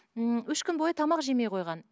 ммм үш күн бойы тамақ жемей қойған